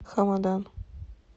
хамадан